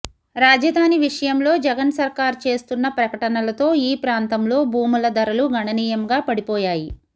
రాజధాని విషయంలో జగన్ సర్కార్ చేస్తున్న ప్రకటనలతో ఈ ప్రాంతంలో భూముల ధరలు గణనీయంగా పడిపోయాయి